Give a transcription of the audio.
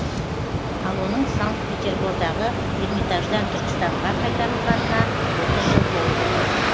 ал оның санкт петербордағы эрмитаждан түркістанға қайтарылғанына отыз жыл толып отыр